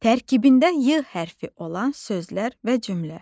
Tərkibində Y hərfi olan sözlər və cümlə.